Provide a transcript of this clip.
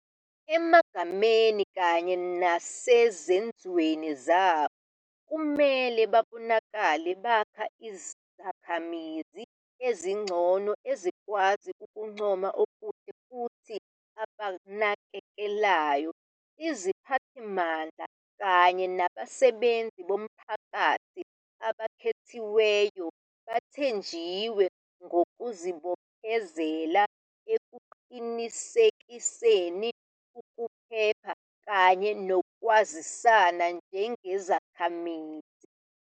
Emagameni kanye nesezenzweni zabo, kumele babonakale bakha izikhamizi ezingcono ezikwazi ukuncoma okuhle futhi abanakekelayo. Iziphathimandla kanye nabasebenzi bomphakathi abakhethiweyo bathenjiwe ngokuzibophezela ekuqinekiseni ukuphepha kanye nokwazisana njengezakhamizi.